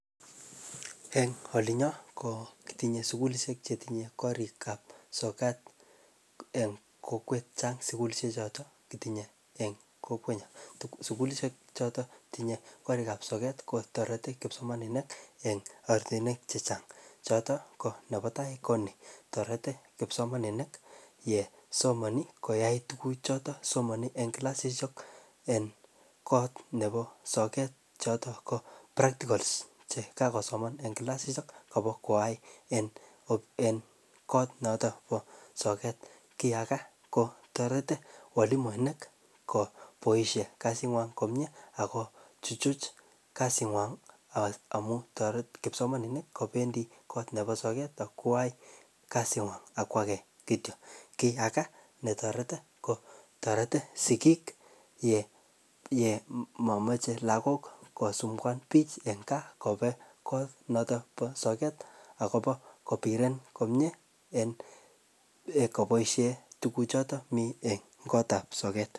En olinyon ketinye sugulishek chetinye korik ab sokat en kokwet Chang sugulishek choton kotinye en kokwet nyon sugulishek choton tinye korik ab soket kotareti kipsomaninik en oratinywek chechang choton konebatai Koni toreti kipsomaninik yesomani koyai tuguk choton Somani en kila en kot Nebo soket choton ko prakticols chekakosoman en kilasakobo koyai en kot noton Bo soget kiage ko tareti walimuinik ko baishek kasingwong komie ako chuchuch kasingwong amun tareti kipsomaninik ko kebendi kot Nebo soket akwai kasingwong ak age kityo akiyaka netareti ko sikik KO yemamache lagok kosumbwatis lagok kobeng konoton ba soget akobo kobiren komie en kobaishen tuguk choton mi en kotab soget